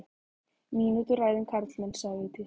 Mínútu ræða um karlmenn, sagði Vigdís.